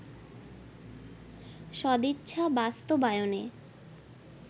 সদিচ্ছা বাস্তবায়নে